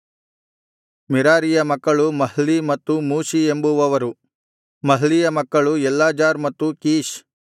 ಮೆರಾರೀಯ ಮಕ್ಕಳು ಮಹ್ಲೀ ಮತ್ತು ಮೂಷೀ ಎಂಬುವವರು ಮಹ್ಲೀಯ ಮಕ್ಕಳು ಎಲ್ಲಾಜಾರ್ ಮತ್ತು ಕೀಷ್